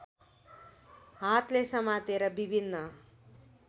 हातले समातेर विभिन्न